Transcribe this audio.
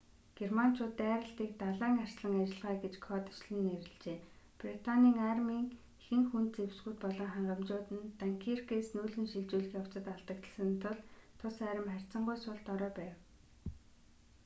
германчууд дайралтыг далайн арслан ажиллагаа гэж кодчилон нэрлэжээ британий армийн ихэнх хүнд зэвсгүүд болон хангамжууд нь данкиркээс нүүлгэн шилжүүлэх явцад алдагдсан тул тус арми харьцангуй сул дорой байв